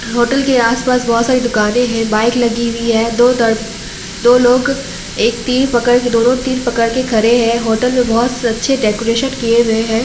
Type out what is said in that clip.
Hotel के आस-पास बहुत सारे दुकाने है बाइक लगी हुई है दो दर्म दो लोग एक तीर पकड़ के दोनों तीर पकड़ के खड़े है होटल अच्छे डेकोरेशन किए हुए है।